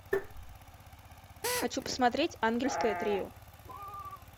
хочу посмотреть ангельское трио